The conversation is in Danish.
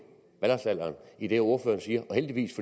valgretsalderen i det ordføreren siger og heldigvis